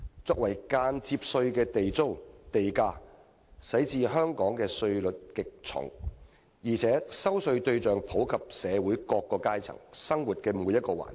作為間接稅的地租和地價令香港的稅率極重，而且徵稅對象遍及社會各階層，以及生活每個環節。